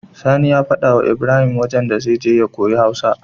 Sani ya faɗa wa Ibrahim wajan da zai je ya koyi hausa